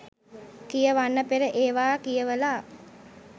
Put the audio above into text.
කියවන්න පෙර ඒවා කියවලා